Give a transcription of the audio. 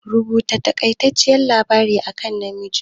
Rubuta taƙaiceccen labari akan Namiji?